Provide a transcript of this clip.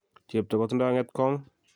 Chepto kotindo ng'etkong'?